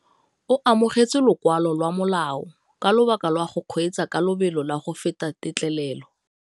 O amogetse lokwalô lwa molao ka lobaka lwa go kgweetsa ka lobelo la go feta têtlêlêlô.